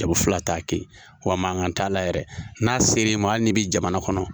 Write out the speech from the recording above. Jamu fila t'a kɛ yen. Wa mankan t'a la yɛrɛ ,n'a sera i ma hali ni bi jamana kɔnɔ.